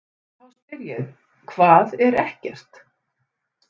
Þá spyr ég: HVAÐ ER EKKERT?